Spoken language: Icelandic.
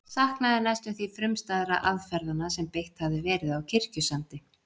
Saknaði næstum því frumstæðra aðferðanna sem beitt hafði verið á Kirkjusandi.